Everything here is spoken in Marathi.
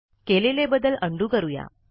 केलेले बदल उंडो करूया